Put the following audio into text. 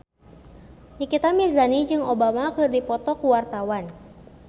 Nikita Mirzani jeung Obama keur dipoto ku wartawan